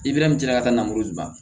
ka taa namalo di ban